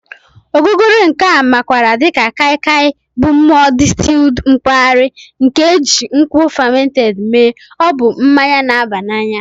Ogogoro nke a makwaara dị ka Kai Kai Bụ mmụọ distilled mpaghara nke e ji nkwụ fermented mee, ọ bụ mmanya na-aba n'anya